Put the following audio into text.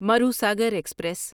Marusagar express